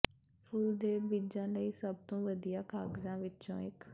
ਫੁੱਲ ਦੇ ਬੀਜਾਂ ਲਈ ਸਭ ਤੋਂ ਵਧੀਆ ਕਾਗਜ਼ਾਂ ਵਿਚੋਂ ਇਕ